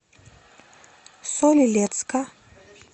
соль илецка